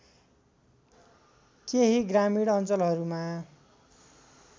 केही ग्रामीण अञ्चलहरूमा